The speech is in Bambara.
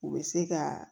U bɛ se ka